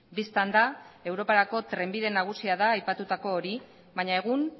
bistan da europarako trenbide nagusia da aipatutako hori baina egun